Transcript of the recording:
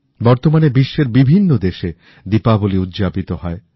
বর্তমানে বিশ্বের বিভিন্ন দেশে দীপাবলি উদযাপিত হয়